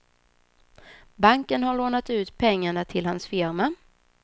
Banken har lånat ut pengarna till hans firma.